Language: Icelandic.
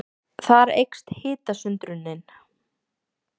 Þar eykst hitasundrunin.